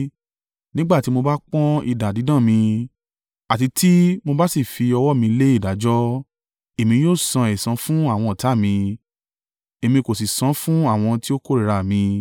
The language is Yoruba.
nígbà tí mo bá pọ́n idà dídán mi àti tí mo bá sì fi ọwọ́ mi lé ìdájọ́, Èmi yóò san ẹ̀san fún àwọn ọ̀tá mi Èmi ó sì san fún àwọn tí ó kórìíra à mi.